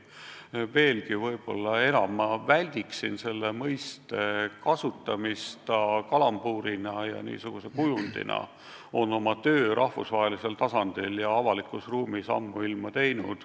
Aga ma väldiksin selle mõiste kasutamist kalambuurina, kujundina on see oma töö rahvusvahelisel tasandil ja avalikus ruumis ammuilma teinud.